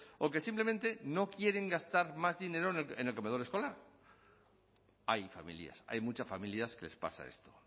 o que simplemente no quieren gastar más dinero en el comedor escolar hay familias hay muchas familias que les pasa esto